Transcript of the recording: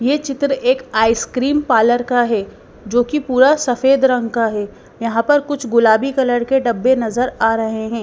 ये चित्र एक आइसक्रीम पार्लर का है जो कि पूरा सफेद रंग का है यहाँ पर कुछ गुलाबी कलर के डब्बे नजर आ रहे हैं।